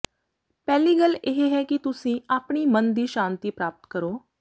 ਪਹਿਲੀ ਗੱਲ ਇਹ ਹੈ ਕਿ ਤੁਸੀਂ ਆਪਣੀ ਮਨ ਦੀ ਸ਼ਾਂਤੀ ਪ੍ਰਾਪਤ ਕਰੋ